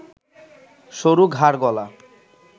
সরু ঘাড়-গলা